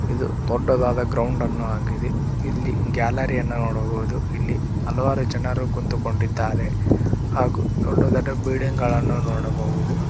ಇದು ದೊಡ್ಡದಾದ ಗ್ರೌಂಡ್ ಅನ್ನೋ ಆಗಿದೆ ಇಲ್ಲಿ ಗ್ಯಾಲರಿ ಯನ್ನ ನೋಡಬಹುದು ಇಲ್ಲಿ ಹಲವಾರು ಜನರು ಕುಂತುಕೊಂಡಿದ್ದಾರೆ ಹಾಗು ದೊಡ್ಡದಾದ ಬಿಲ್ಡಿಂಗ್ ಗಳನ್ನು ನೋಡಬಹುದು.